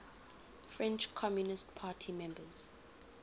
french communist party members